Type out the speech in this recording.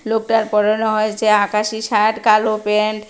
লোকটার পরনে হয়েছে আকাশি শার্ট কালো প্যান্ট ।